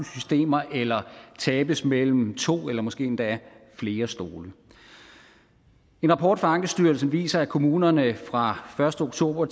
systemer eller tabes mellem to eller måske endda flere stole en rapport fra ankestyrelsen viser at kommunerne fra første oktober